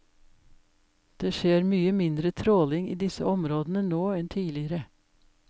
Det skjer mye mindre tråling i disse områdene nå enn tidligere.